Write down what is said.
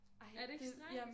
Er det ikke strengt?